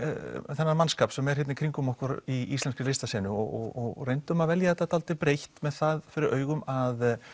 þennan mannskap sem er hérna í kringum okkur í íslenskri listasenu og reyndum að velja þetta dálítið breitt með það fyrir augum að